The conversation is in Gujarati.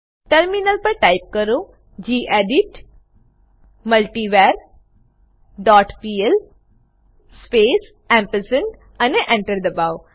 ટર્મિનલ પર ટાઈપ કરો gedit multivar dot PL space ampersand અને Enter દબાઓ